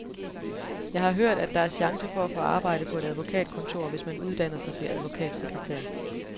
Jeg har hørt, at der er chance for at få arbejde på et advokatkontor, hvis man uddanner sig til advokatsekretær.